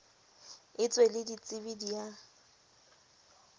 etswe le ditsebi di a